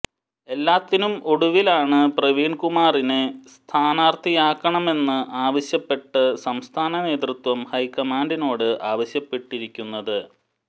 എല്ലാത്തിനും ഒടുവിലാണ് പ്രവീൺ കുമാറിനെ സ്ഥാനാർഥിയാക്കണമെന്ന് ആവശ്യപ്പെട്ട് സംസ്ഥാനനേതൃത്വം ഹൈക്കമാൻഡിനോട് ആവശ്യപ്പെട്ടിരിക്കുന്നത്